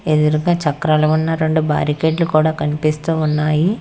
ఎదురుగా చక్రాలుగా ఉన్న రెండు భారీ గేట్లు కూడా కనిపిస్తూ ఉన్నాయి.